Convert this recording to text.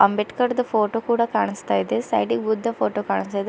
ಅಂಬೇಡ್ಕರ್ದು photo ಕೂಡ ಕಾಣಿಸ್ತಾ ಇದೆ ಸೈಡಿ ಗ್ ಬುದ್ಧ ಫೋಟೋ ಕಾಣಿಸ್ತಾ ಇದೆ.